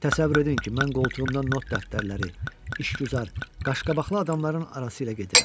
Təsəvvür edin ki, mən qoltuğumdan not dəftərləri, işgüzar, qaşqabaqlı adamların arası ilə gedirəm.